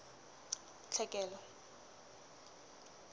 tlhekelo